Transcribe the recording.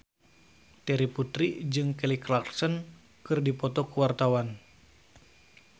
Terry Putri jeung Kelly Clarkson keur dipoto ku wartawan